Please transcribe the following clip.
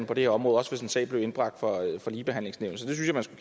på det her område også hvis en sag blev indbragt for ligebehandlingsnævnet så